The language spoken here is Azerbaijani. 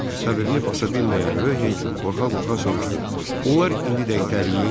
Səbrini basa bilməyən Röh hey qorxa-qorxa soruşdu: Onlar indidə itələyim?